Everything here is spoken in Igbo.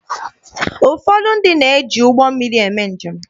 Ụfọdụ ndị na-eji ụgbọ mmiri eme njem.